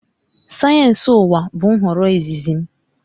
Sayensị ụwa bụ nhọrọ izizi m